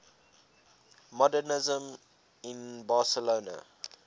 modernisme in barcelona